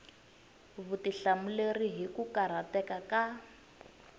vutihlamuleri hi ku karhateka ka